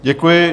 Děkuji.